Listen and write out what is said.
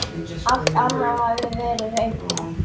Alt annað hafði verið reynt.